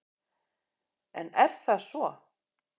En er það svo?